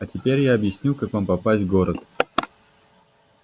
а теперь я объясню как вам попасть в город